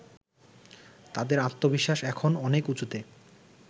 তাদের আত্মবিশ্বাস এখন অনেক উঁচুতে